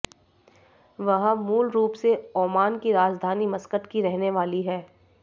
वह मूलरूप से ओमान की राजधानी मस्कट की रहने वाली है